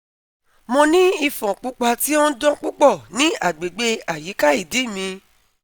Mo ni ifon pupa ti o n dan pupọ ni agbegbe ayika idi mi